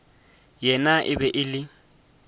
yena e be e le